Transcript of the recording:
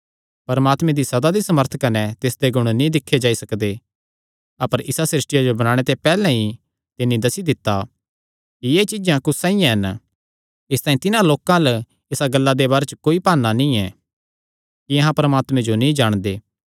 परमात्मे दी सदा दी सामर्थ कने तिसदे गुण नीं दिक्खे जाई सकदे अपर इसा सृष्टिया जो बणाणे ते पैहल्ले ई तिन्नी दस्सी दित्ता कि एह़ चीज्जां कुस साइआं हन इसतांई तिन्हां लोकां अल्ल इसा गल्ला दे बारे च कोई भाना नीं ऐ कि अहां परमात्मे जो नीं जाणदे